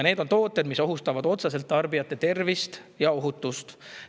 Need tooted ohustavad otseselt tarbijaid ja nende tervist.